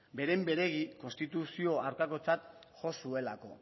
beren beregi konstituzio hartakotzat jo zuelako